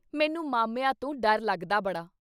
ਮੈਨੂੰ ਮਾਮਿਆਂ ਤੋਂ ਡਰ ਲੱਗਦਾ ਬੜਾ।